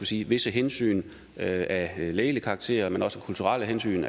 sige visse hensyn af lægelig karakter men også kulturelle hensyn